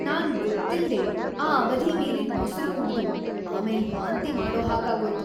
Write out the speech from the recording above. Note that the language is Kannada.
ನಾನ್ ಗೊತ್ತಿಲ್ದೇ ಆ ಅವಧಿ ಮೀರಿದ್ ಮೊಸ್ರು ಕುಡ್ದು ಆಮೇಲ್ ವಾಂತಿ ಮಾಡೋ ಹಾಗಾಗೋಯ್ತು.